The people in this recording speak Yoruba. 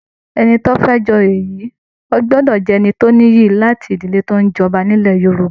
Ẹni tí ó fẹ́ jẹ oyè yìí gbọ́dọ̀ ní ìran tó nìyí, láti ìdílé tó ń jọba nílẹ̀ Yorùbá